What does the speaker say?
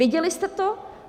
Věděli jste to?